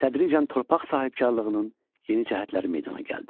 Tədricən torpaq sahibkarlığının yeni cəhətləri meydana gəldi.